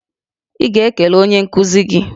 Ị ga-ekele onye nkuzi gị!